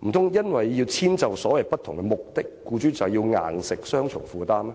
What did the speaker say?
難道因為要遷就所謂不同的目的，便要強迫僱主有雙重負擔嗎？